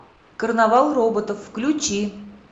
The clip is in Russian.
карнавал роботов включи